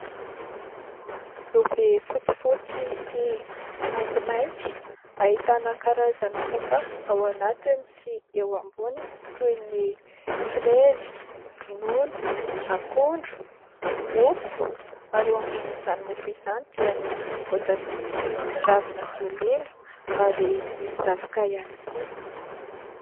Lovia fotsifotsy sy maintimainty ahitana karazana sakafo ao anatiny sy eo amboniny toy ny frezy, ronono, akondro, mofo ary eo ambon'izany mofo izany dia misy voatabia sy ravina solila ary misy zavoka ihany koa.